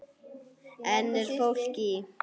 Enn er fólk í